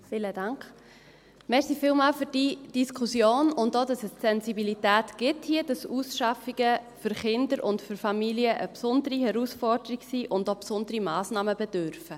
Vielen Dank für die Diskussion und auch dafür, dass es hier die Sensibilität gibt, dass Ausschaffungen für Kinder und für Familien eine besondere Herausforderung sind und diese auch besonderer Massnahmen bedürfen.